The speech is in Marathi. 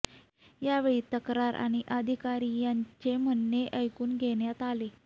यावेळी तक्रार आणि अधिकारी त्यांचे म्हणणे ऐकून घेण्यात आले